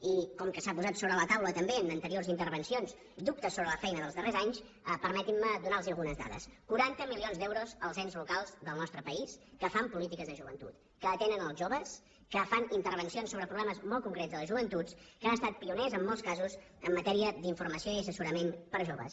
i com que s’ha posat sobre la taula també en anteriors intervencions dubtes sobre la feina dels darrers anys permetin me donar los algunes dades quaranta milions d’euros als ens locals del nostre país que fan polítiques de joventut que atenen els joves que fan intervencions sobre problemes molt concrets de la joventut que han estat pioners en molts casos en matèria d’informació i assessorament per a joves